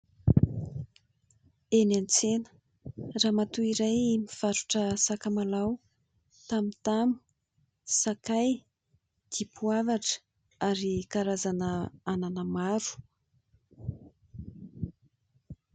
Eny an-tsena ramatoa iray mivarotra sakamalao, tamotamo, sakay, dipoavatra ary karazana anana maro.